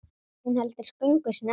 Hún heldur göngu sinni áfram.